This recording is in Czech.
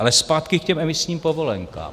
Ale zpátky k těm emisním povolenkám.